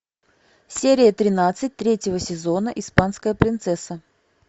серия тринадцать третьего сезона испанская принцесса